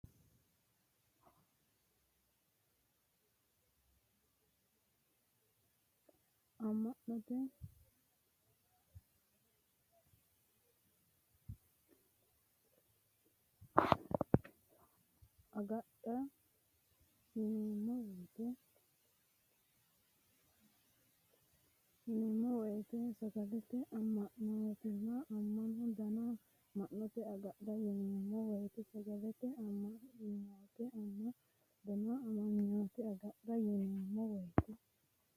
Amanyoote agadha yineemmo woyite saga’late amanyooteno ama- danno Amanyoote agadha yineemmo woyite saga’late amanyooteno ama- danno Amanyoote agadha yineemmo woyite.